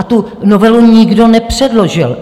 A tu novelu nikdo nepředložil.